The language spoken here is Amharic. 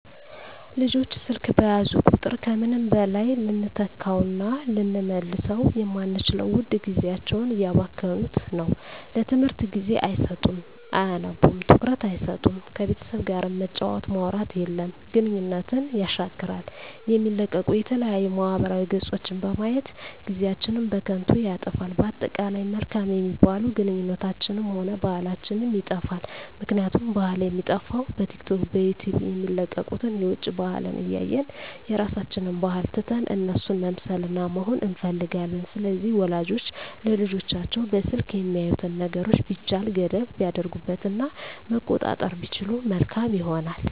ልጆች ስልክ በያዙ ቁጥር ከምንም በላይ ልንተካዉእና ልንመልሰዉ የማንችለዉን ዉድ ጊዜያቸዉን እያባከኑት ነዉ ለትምህርት ጊዜ አይሰጡም አያነቡም ትኩረት አይሰጡም ከቤተሰብ ጋርም መጫወት ማዉራት የለም ግንኙነትን የሻክራል የሚለቀቁ የተለያዩ ማህበራዊ ገፆችን በማየት ጊዜአችን በከንቱ ይጠፋል በአጠቃላይ መልካም የሚባሉ ግንኙነታችንንም ሆነ ባህላችንንም ይጠፋል ምክንያቱም ባህል የሚጠፋዉ በቲክቶክ በዩቲዩብ የሚለቀቁትን የዉጭ ባህልን እያየን የራሳችንን ባህል ትተን እነሱን መምሰልና መሆን እንፈልጋለን ስለዚህ ወላጆች ለልጆቻቸዉ በስልክ የሚያዩትን ነገሮች ቢቻል ገደብ ቢያደርጉበት እና መቆጣጠር ቢችሉ መልካም ይሆናል